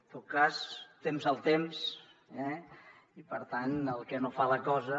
en tot cas temps al temps eh i per tant el que no fa la cosa